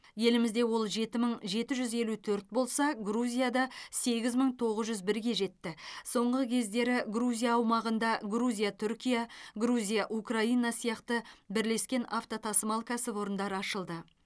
елімізде ол жеті мың жеті жүз елу төрт болса грузияда сегіз мың тоғыз жүз бірге жетті соңғы кездері грузия аумағында грузия түркия грузия украина сияқты бірлескен автотасымал кәсіпорындары ашылды